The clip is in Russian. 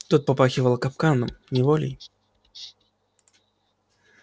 тут попахивало капканом неволей